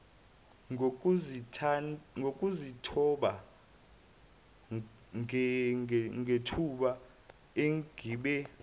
ngokuzithoba ngethuba engibe